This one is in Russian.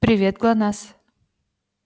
привет гланаз